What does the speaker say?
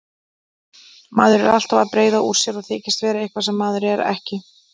Maður er alltaf að breiða úr sér og þykjast vera eitthvað sem maður er ekki.